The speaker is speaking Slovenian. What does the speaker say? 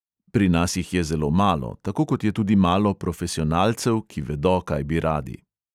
Pri nas jih je zelo malo, tako kot je tudi malo profesionalcev, ki vedo, kaj bi radi.